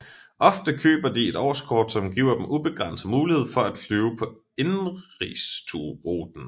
Ofte køber de et årskort som giver dem ubegrænset mulighed for at flyve på indenrigsruten